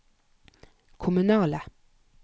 kommunale